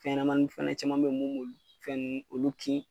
Fɛɲɛnamanin fana caman bɛyi mun b'olu fɛn ninnu olu kin.